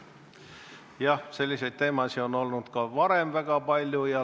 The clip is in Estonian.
Jah, selliseid teemasid on olnud ka varem väga palju.